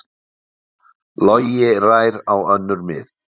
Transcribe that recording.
Logi rær á önnur mið